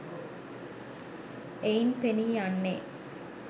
එයින් පෙනීයන්නේ